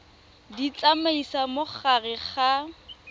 di tsamaisa mo gare ga